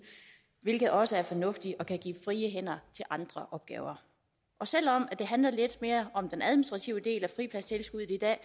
hvilket også er fornuftigt og kan frigive hænder til andre opgaver og selv om det lidt mere om den administrative del af fripladstilskuddet i dag